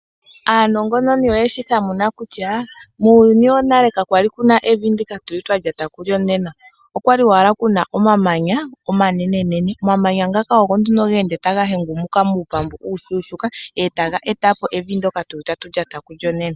Aanongononi oyeshi thamuna kutya muuyuni wonale kakwali kuna evi ndika tuli twa lyata kulyo nena. Okwali owala kuna omamanya omanene. Omamanya ngaka ogo nduno ge ende taga hengumuka muupambu uushuushuuka etaga etapo evi ndyoka tuli tatu lyata kulyo nena.